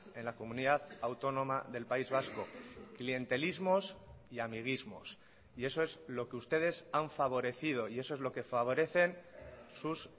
en la comunidad autónoma del país vasco clientelismos y amiguismos y eso es lo que ustedes han favorecido y eso es lo que favorecen sus